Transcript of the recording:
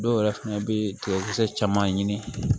Dɔw yɛrɛ fɛnɛ bɛ tigɛkisɛ caman ɲini